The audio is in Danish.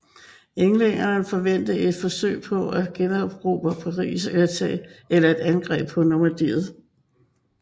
Englænderne forventede et forsøg på at generobre Paris eller et angreb på Normandiet